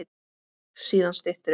Síðan styttir upp.